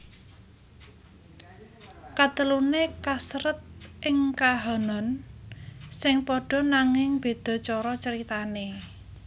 Kateluné kasèrèt ing kahanan sing padha nanging béda cara caritané